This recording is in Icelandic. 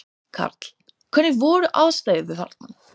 Karl: Hvernig voru aðstæður þarna?